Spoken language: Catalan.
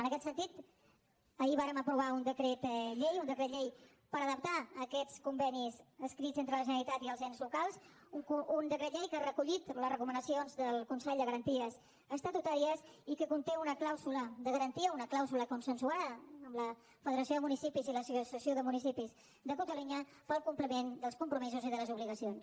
en aquest sentit ahir vàrem aprovar un decret llei un decret llei per adaptar aquests convenis escrits entre la generalitat i els ens locals un decret llei que ha recollit les recomanacions del consell de garanties estatutàries i que conté una clàusula de garantia una clàusula consensuada amb la federació de municipis i l’associació de municipis de catalunya per al compliment dels compromisos i de les obligacions